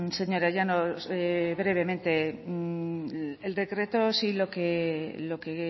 señora llanos brevemente el decreto sí lo que